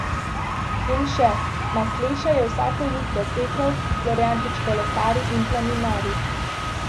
In še, Masleša je vsako jutro tekel, Florjančič kolesari in planinari.